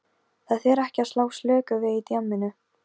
Það þýðir ekki að slá slöku við í djamminu.